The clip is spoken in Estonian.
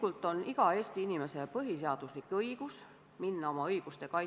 Tuulikute tootmine Eestis pakuks hea võimaluse luua põlevkivisektori töötajatele uusi tasuvaid erialaseid töökohti kodu lähedal.